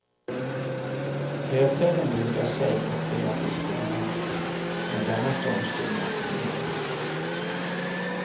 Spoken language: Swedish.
Lövträden bugar sig och ber att bli skonade, men denna storm skonar ingen.